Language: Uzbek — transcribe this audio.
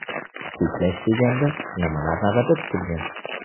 Cheklash deganda nimalar nazarda tutilgan?